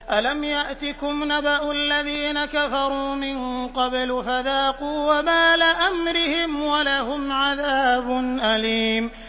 أَلَمْ يَأْتِكُمْ نَبَأُ الَّذِينَ كَفَرُوا مِن قَبْلُ فَذَاقُوا وَبَالَ أَمْرِهِمْ وَلَهُمْ عَذَابٌ أَلِيمٌ